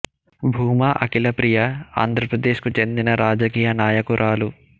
భూమా అఖిల ప్రియ ఆంధ్ర ప్రదేశ్ కు చెందిన రాజకీయనాయకురాలు